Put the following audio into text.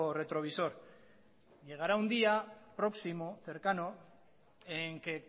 retrovisor llegará un día próximo cercano en que